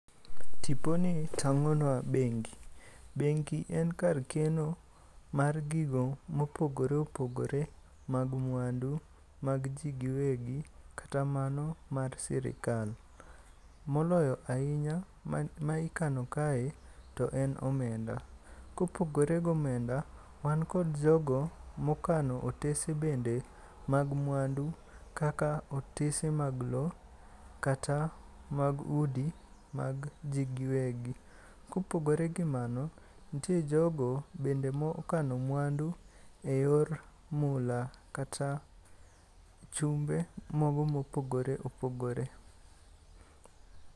Tiponi tang'onwa bengi. Bengi en kar keno mar gigo mopogore opogore mag mwandu mag ji giwegi kata mano mar sirikal. moloyo ahinya ma ikano kae to en omenda, kopogore go omenda, wan kod jogo mokano otese bende mag mwandu kaka otese mag lo kata mag udi mag ji giwegi. Kopogore gi mano ntie jogo bende mokoano mwandu e yor mula kata chumbe mago mopogore opogore.